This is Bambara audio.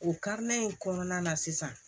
O karilen kɔnɔna na sisan